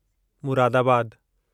मुरादाबादु